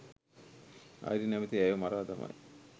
Irene නැමැති ඇයව මරා දමයි